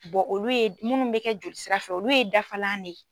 olu ye munnuw bɛ kɛ jolisirafɛ olu ye dafalan de ye.